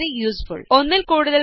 this is very useful